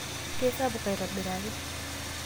keisapuk aitobiraki